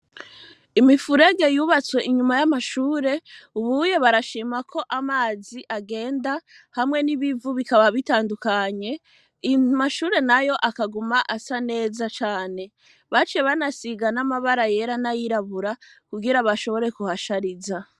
Imifurege yubatswe inyuma y'amashure, ubuye barashimako amazi agenda, hamwe n'ibivu bikaba bitandukanye, amashure nayo akaguma asa neza cane. Baciye banasiga n'amabara yera nay'irabura kugira bashobore kuhashariza.